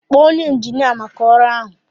Kpọọ onye injinia maka ọrụ ahụ